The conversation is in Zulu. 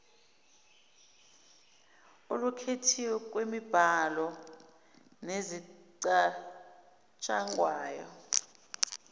olukhethiwe lwemibhalo nezicatshangwayo